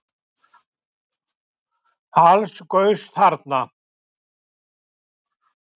Alls gaus þarna